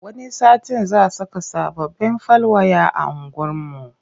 Wani satin za saka sababbin fal waya a unguwarmu.